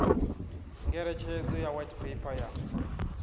ngeletshedzo ya white paper ya